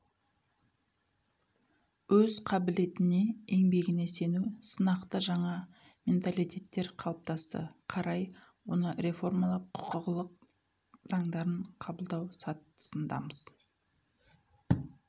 өз қабілетіне еңбегіне сену сынақты жаңа менталитеттер қалыптасты қарай оны реформалап құқылық заңдарын қабылдау сатысындамыз